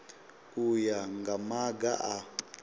u ya nga maga a